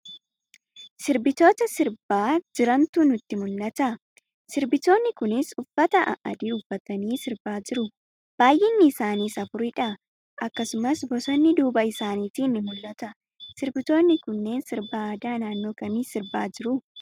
Sirbitoota sirbaa jirantu nutti mul'ata. Sirbitooni kunis uffata a'adii uffatanii sirba jiru. baayinni isaaniis afuri dha. Akkasumas bosonni duuba isaaniitiin ni mul'ata. Sirbitoonni kunniin sirba aadaa naannoo kamii sirbaa jiru?